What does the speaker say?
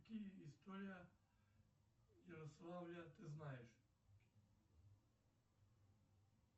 какие история ярославля ты знаешь